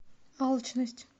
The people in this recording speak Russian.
алчность